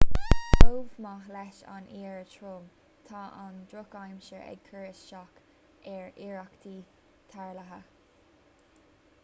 chomh maith leis an oighear trom tá an drochaimsir ag cur isteach ar iarrachtaí tarrthála